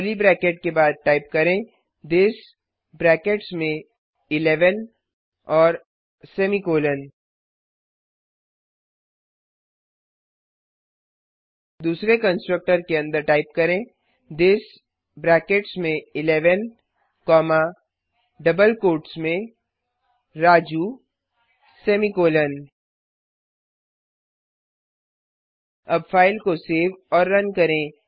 curly bracket के बाद type करें थिस ब्रैकेट्स में 11 और सेमीकॉलन दूसरे कंस्ट्रक्टर के अंदर टाइप करें थिस ब्रैकेट्स में 11 कॉमा डबल कोट्स में राजू सेमीकॉलन अब फाइल को सेव और रन करें